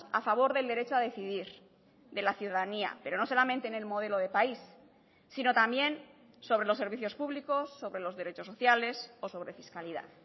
a favor del derecho a decidir de la ciudadanía pero no solamente en el modelo de país sino también sobre los servicios públicos sobre los derechos sociales o sobre fiscalidad